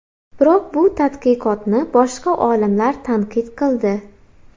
Biroq bu tadqiqotni boshqa olimlar tanqid qildi.